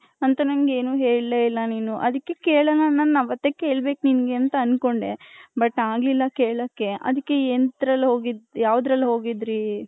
ಹಂತ ನಂಗ್ ಏನು ಹೇಳಇಲ್ಲ ನೀನು ಅದಿಕೆ ಕೆಳನ ನನ್ ಅವಥೆ ಕೆಲ್ಬೆಕ್ ನಿಂಗೆ ಅಂತ ಅನ್ಕೊಂಡೆ but ಆಗ್ಲಿಲ್ಲ ಕೆಲ್ಲಕೆ ಅದಿಕ್ಕೆ ಯಾವ್ದರಲ್ಲಿ ಹೋಗಿದ್ರಿ.